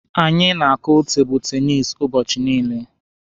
Anyị na-akụ tebụlụ tenisi ụbọchị niile.